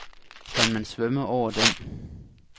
Kan man svømme over den.